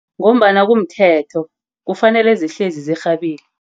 Ngombana kumthetho. Kufanele zihlezi zirhabile.